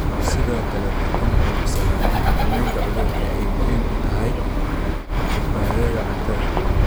Sidoo kale, waxay ku nuuxnuuxsadeen in xakamaynta cudurku ay muhiim u tahay badbaadada cuntada.